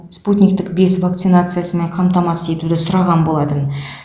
спутниктік бес вакцинациясымен қамтамасыз етуді сұраған болатын